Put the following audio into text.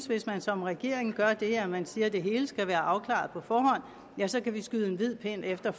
hvis man som regering gør det at man siger at det hele skal være afklaret på forhånd så kan vi skyde en hvid pind efter